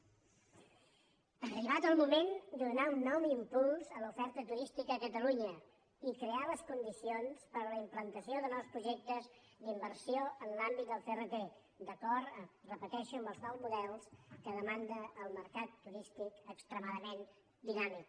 ha arribat el moment de donar un nou impuls a l’oferta turística a catalunya i crear les condicions per a la implantació de nous projectes d’inversió en l’àmbit del crt d’acord ho repeteixo amb els nous models que demanda el mercat turístic extremadament dinàmic